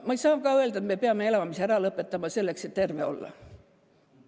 Ma ei saa ka öelda, et me peame elamise ära lõpetama, selleks et terve olla.